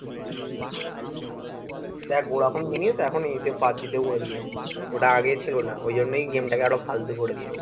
দেখ Vodafone mini এখন পাবজিতে করে দিয়েছে । ওটা আগে ছিল না। ঐ জন্যেই game টাকে এত ফালতু করে দিয়েছে।